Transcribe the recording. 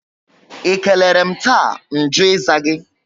I keleerem taa, nju ịza gị?